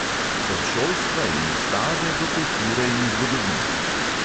Od šolstva in ustave do kulture in zgodovine.